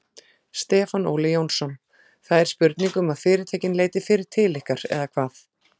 Stefán Óli Jónsson: Það er spurning um að fyrirtækin leiti fyrr til ykkar eða hvað?